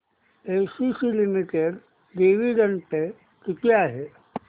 ACC limited dividend pay किती आहे